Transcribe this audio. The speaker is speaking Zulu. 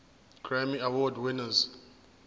grammy award winners